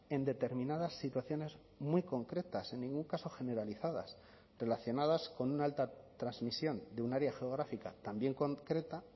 en determinadas situaciones muy concretas en ningún caso generalizadas relacionadas con una alta transmisión de un área geográfica también concreta